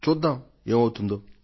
చూద్దాం ఏమవుతుందో